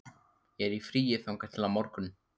Ég er í fríi þangað til á morgun.